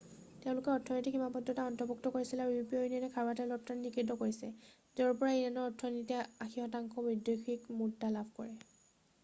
তেওঁলোকে অৰ্থনৈতিক সীমাদ্ধতাক অন্তৰ্ভুক্ত কৰিছিল আৰু ইউৰোপীয়া ইউনিয়নে খাৰুৱা তেল ৰপ্তানি কৰাত নিষিদ্ধ কৰিছে য'ৰ পৰা ইৰাণৰ অৰ্থনীতিয়ে 80% বৈদেশিক মুদ্ৰা লাভ কৰে